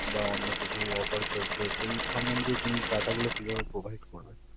বা অন্য কিছু offer চলছে যেই সম্বন্ধে data গুলো কিভাবে provide করবে?